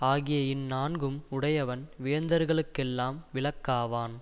ஆகிய இந்நான்கும் உடையவன் வேந்தர்களுக்கெல்லாம் விளக்காவான்